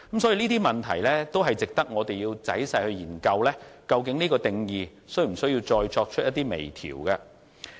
所以，這些問題值得我們仔細研究，究竟有關的定義是否需要再作出微調。